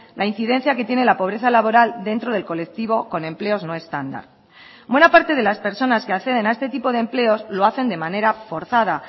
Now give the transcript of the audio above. la incidencia que tiene la pobreza laboral dentro del colectivo con empleos no estándar buena parte de las personas que acceden a este tipo de empleos lo hacen de manera forzada